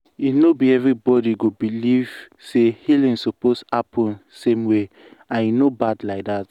e no be everybody go believe say healing suppose happen same way and e no bad like that.